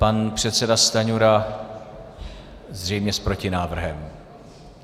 Pan předseda Stanjura zřejmě s protinávrhem.